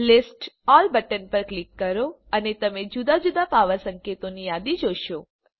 list all button પર click કરો અને તમે જુદા જુદા પાવર સંકેતોની યાદી જોશો